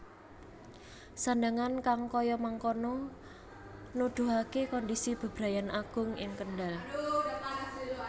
Sandhangan kang kaya mangkono nudhuhake kondisi bebrayan agung ing Kendhal